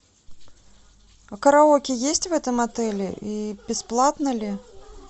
а караоке есть в этом отеле и бесплатно ли